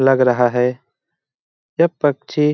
लग रहा है यह पक्षी --